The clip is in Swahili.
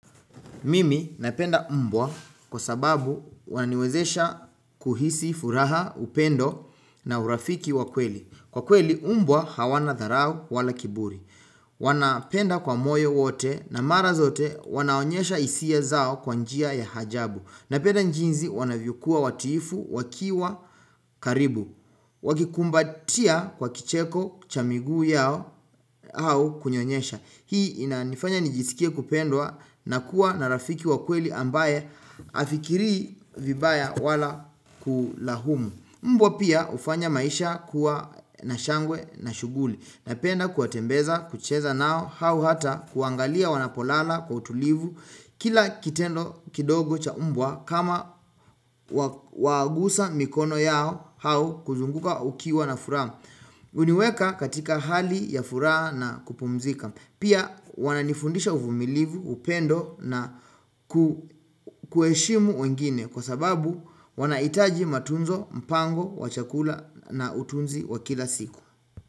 Mimi napenda mbwa kwa sababu waniwezesha kuhisi furaha upendo na urafiki wakweli. Hhh Kwa kweli umbwa hawana tharao wala kiburi. Hhh ukh wanapenda kwa moyo wote na mara zote wanaonyesha isia zao kwa njia ya hajabu. Hhh Napenda njinzi wanavyokua watiifu wakiwa karibu. Wak Wakikumbatia kwa kicheko cha miguu yao au kunyonyesha. Hii inanifanya nijisikie kupendwa na kuwa na rafiki wa kweli ambaye afikiri vibaya wala kulahumu. Mbwa pia ufanya maisha kuwa na shangwe na shuguli. Napenda kuwatembeza, kucheza nao, hau hata kuangalia wanapolala kwa utulivu hhh Kila kitendo kidogo cha mbwa kama wa wagusa mikono yao hau kuzunguka ukiwa na furaa hh um Uniweka katika hali ya furaa na kupumzika Pia wananifundisha uvumilivu, upendo na ku kueshimu wengine kwa sababu hh um wanaitaji matunzo, mpango, wachakula n na utunzi wa kila siku.